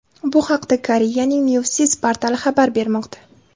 Bu haqda Koreyaning Newsis portali xabar bermoqda .